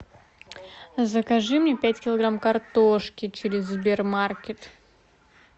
закажи мне пять килограмм картошки через сбер маркет